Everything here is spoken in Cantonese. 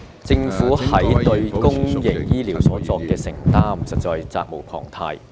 政府對公營醫療作出承擔實在責無旁貸。